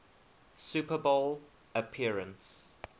super bowl appearance